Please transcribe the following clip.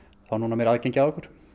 meira aðgengi að okkur